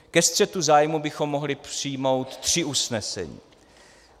Ke střetu zájmů bychom mohli přijmout tři usnesení.